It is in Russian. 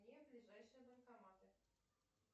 где ближайшие банкоматы